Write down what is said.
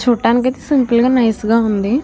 చూడ్డానికి సింపుల్ గా నైస్ గా ఉంది.